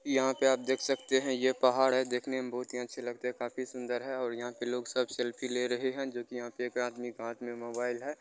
यहाँ पे आप देख सकते है ये पहाड़ है। देखने में बहुत ही अच्छे लगते है काफी सुन्दर है और यहाँ के लोग सब सेल्फी ले रहे है जो की यहाँ पे एक आदमी के हाथ में मोबाइल है।